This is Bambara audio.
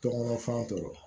Tɔŋɔnɔ fɛn tɔw